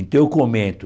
Então eu comento,